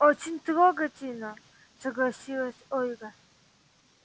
очень трогательно согласилась ольга